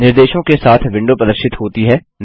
निर्देशों के साथ विंडो प्रदर्शित होती है